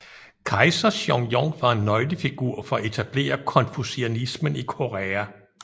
Kejser Seongjong var en nøglefigur for at etablere konfucianismen i Korea